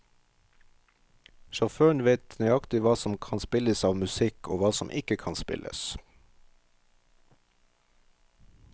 Sjåføren vet nøykatig hva som kan spilles av musikk, og hva som ikke kan spilles.